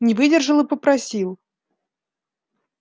не выдержал и попросил